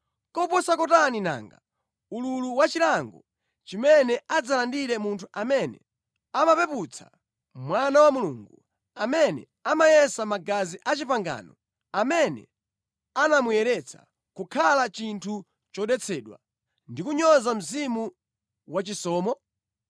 Koposa kotani nanga ululu wachilango chimene adzalandire munthu amene amapeputsa Mwana wa Mulungu, amene amayesa magazi a pangano, amene anamuyeretsa, kukhala chinthu chodetsedwa, ndi kunyoza Mzimu wachisomo?